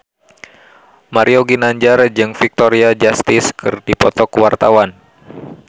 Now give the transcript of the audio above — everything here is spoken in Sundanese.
Mario Ginanjar jeung Victoria Justice keur dipoto ku wartawan